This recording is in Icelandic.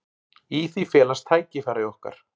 Í því felast tækifæri okkar.